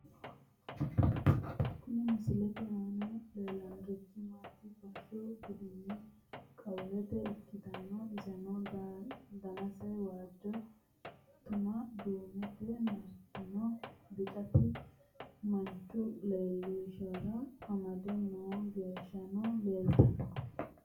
Kuni misilete aana leellanni noorichi bisoho buudhinanni qiwaate ikkitanna, iseno danase waajjo tuana duumete martino bicaati, manchu leellishara amade noo angano leeltanno.